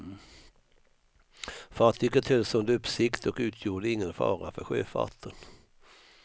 Fartyget hölls under uppsikt och utgjorde ingen fara för sjöfarten.